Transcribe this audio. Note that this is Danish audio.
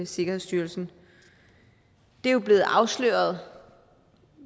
sikkerhedsstyrelsen det er jo blevet afsløret